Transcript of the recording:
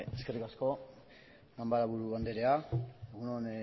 eskerrik asko ganbaraburu anderea egun on